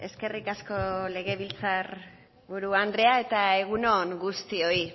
eskerrik asko legebiltzar buru andrea eta egun on guztioi